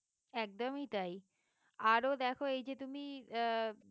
একদমই তাই আরো দেখো এই যে তুমি আহ